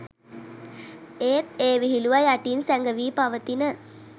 ඒත් ඒ විහිළුව යටින් සැඟවී පවතින